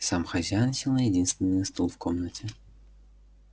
сам хозяин сел на единственный стул в комнате